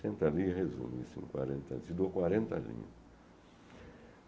Senta ali e resume isso em quarenta, eu te dou quarenta linhas.